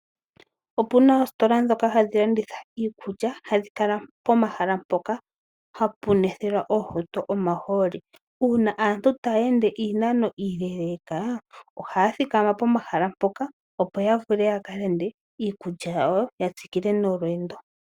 Opu na oositola ndhoka hadhi landitha iikulya hadhi kala pomahala mpoka hapu nwethelwa oohauto omahooli uuna aantu taya ende iinano iileleka ohaya thikama pomahala mpoka opo ya vule ya ka lande iikulya yawo ya tsikile nolweendo.